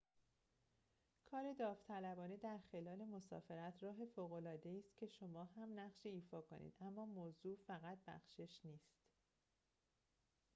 کار داوطلبانه در خلال مسافرت راه فوق‌العاده‌ای است که شما هم نقشی ایفا کنید اما موضوع فقط بخشش نیست